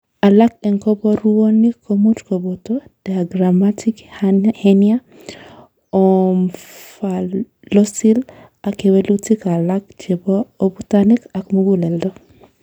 Alak en koborunoik komuch koboto diaphragmatic hernia, omphalocele, ak kewelutik alak chebo abutanik ak muguleldo.